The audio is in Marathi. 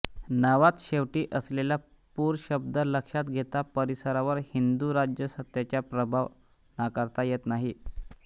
नावात शेवटी असलेला पूर शब्द लक्षात घेता परिसरावर हिंदू राज्यसत्तेचा प्रभाव नाकारता येत नाही